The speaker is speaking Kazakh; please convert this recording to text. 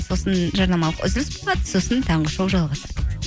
сосын жарнамалық үзіліс болады сосын таңғы шоу жалғасады